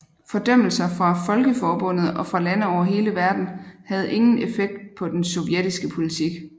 Fordømmelser fra Folkeforbundet og fra lande over hele verden havde ingen effekt på den sovjetiske politik